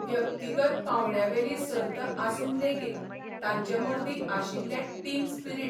व्यक्तिगत पावंड्यावेली सर्त आसून लेगीत तांचे मर्दी आशिल्ले टीम स्पिरिट.